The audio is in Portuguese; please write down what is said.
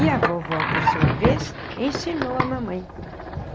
E a vovó, por sua vez, ensinou a mamãe.